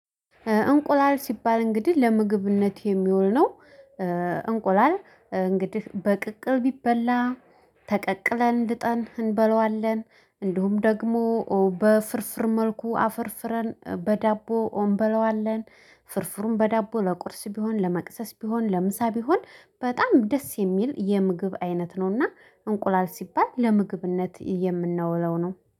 እንቁላል ሲባል እንግዲህ ለምግብነት የሚውል ነው። እንቁላል እንግዲህ በቅቅል ቢበላ ተቀቅለን ድጠን እንበለዋለን እንዲሁም ደግሞ በፍርፍር መልኩ አፈርፍረን በዳቦ አምበለዋለን። ፍርፍሩም በዳቦ ለቁርስ ቢሆን ለመቅሰስ ቢሆን ለምሳ ቢሆን በጣም ደስ የሚል የምግብ አይነት ነውና። እንቁላል ሲባል ለምግብነት የምናውለው ነው